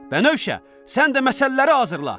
Bənövşə, sən də məsələləri hazırla.